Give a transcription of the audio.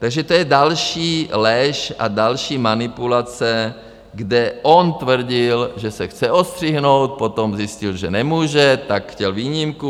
Takže to je další lež a další manipulace, kde on tvrdil, že se chce odstřihnout, potom zjistil, že nemůže, tak chtěl výjimku.